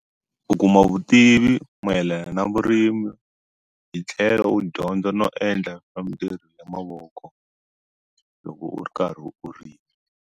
U kuma vutivi mayelana na vurimi hi tlhelo u dyondza no endla ya mavoko loko u ri karhi u rima.